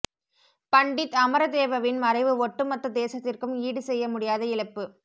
பண்டித் அமரதேவவின் மறைவு ஒட்டுமொத்த தேசத்திற்கும் ஈடு செய்ய முடியாத இழப்பு